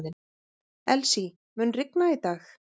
Elsie, mun rigna í dag?